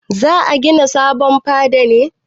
Za a gina sabon fada ne?